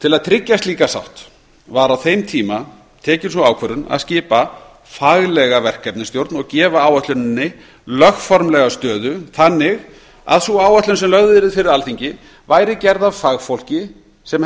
til að tryggja slíka sátt var á þeim tíma tekið sú ákvörðun að skipa faglega verkefnisstjórn og gefa áætluninni lögformlega stöðu þannig að sú áætlun sem lögð yrði fyrir alþingi væri gerð af fagfólki sem